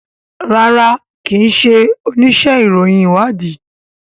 rárá kín ṣe onísé ìròyìn ìwádìí.